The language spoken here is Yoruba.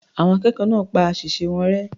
Àwọn akẹ́kọ̀ọ́ náà pa àṣìṣe wọn rẹ́.